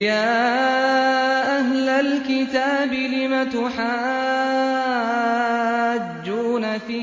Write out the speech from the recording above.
يَا أَهْلَ الْكِتَابِ لِمَ تُحَاجُّونَ فِي